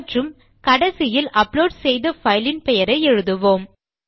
மற்றும் கடைசியில் அப்லோட் செய்த பைல் இன் பெயரை எழுதுவோம்